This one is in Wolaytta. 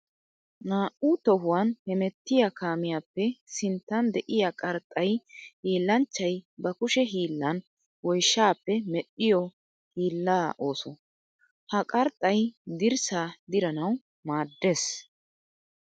Naa'u tohuwan hemettiya kamiyappe sinttan de'iya qarxxay hiillanchchay ba kushe hiillan woyshshappe medhdhiyo hiilla ooso. Ha qarxxay dirssa diranawu maadees.